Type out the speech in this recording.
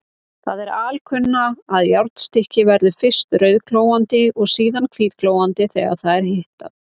Það er alkunna, að járnstykki verður fyrst rauðglóandi og síðan hvítglóandi þegar það er hitað.